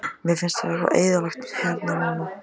Mér finnst svo eyðilegt hérna núna.